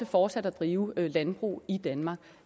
fortsat at drive landbrug i danmark